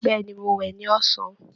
Bẹ̀ẹ́ni, Mo wẹ ní ọ̀san.